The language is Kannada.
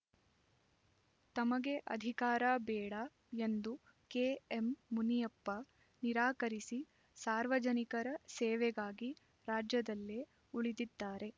ತಮಗೆ ಅಧಿಕಾರ ಬೇಡ ಎಂದು ಕೆಎಂಮುನಿಯಪ್ಪ ನಿರಾಕರಿಸಿ ಸಾರ್ವಜನಿಕರ ಸೇವೆಗಾಗಿ ರಾಜ್ಯದಲ್ಲೇ ಉಳಿದಿದ್ದಾರೆ